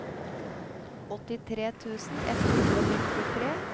åttitre tusen ett hundre og nittitre